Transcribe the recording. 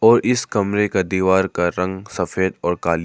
और इस कमरे का दीवार का रंग सफेद और काली--